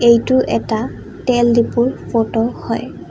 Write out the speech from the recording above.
এইটো এটা তেল ডেপুৰ ফটো হয়।